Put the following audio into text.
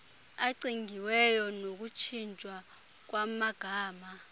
acingiweyo nokutshintshwa kwamagama